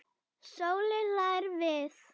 Sóley hlær við.